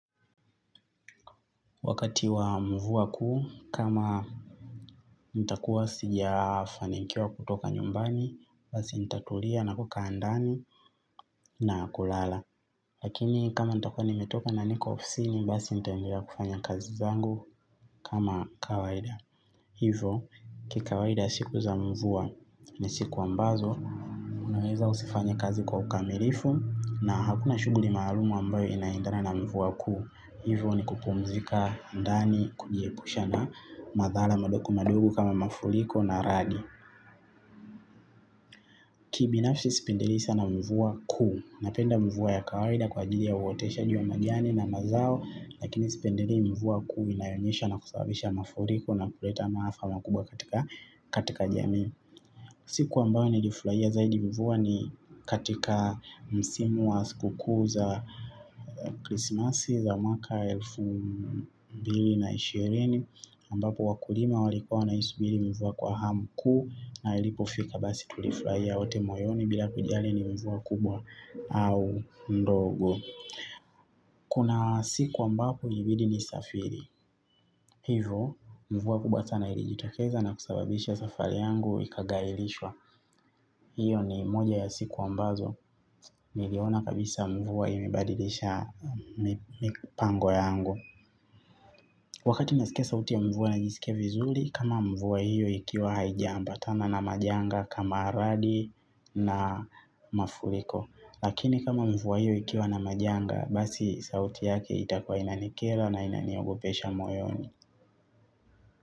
Wakati wa mvua kuu, kama nitakuwa sija fanikiwa kutoka nyumbani, basi nitatulia na kukaa ndani na kulala. Lakini kama nitakuwa nimetoka na niko ofisini basi nitaendelea kufanya kazi zangu kama kawaida. Hivo, kikawaida siku za mvua ni siku ambazo, unaweza usifanye kazi kwa ukamilifu na hakuna shuguli maalumu ambayo inaendana na mvua kuu. Hivyo ni kupumzika ndani kujiepusha na madhara madogo madogo kama mafuriko na radi. Kibinafsi sipendeli sana mvua kuu. Napenda mvua ya kawaida kwa ajili ya uoteshaji wa majani na mazao. Lakini sipendeli mvua kuu inayonyesha na kusababisha mafuriko na kuleta maafa makubwa katika jamii. Siku ambao nilifurahia zaidi mvua ni katika msimu wa skuku za krismasi za mwaka elfu mbili na ishirini ambapo wakulima walikua na isubiri mvua kwa hamu kuu na ilipofika basi tulifurahia wote moyoni bila kujali ni mvua kubwa au ndogo. Kuna siku ambapo ilibidi nisafiri. Hivo mvua kubwa sana ilijitokeza na kusababisha safari yangu ikagailishwa hiyo ni moja ya siku ambazo niliona kabisa mvua imebadilisha mipango yangu wakati nasikia sauti ya mvua najisikia vizuri kama mvua hiyo ikiwa haijaambatana na majanga kama radi na mafuriko lakini kama mvua hiyo ikiwa na majanga basi sauti yake itakuwa inanikera na inaniogopesha moyoni.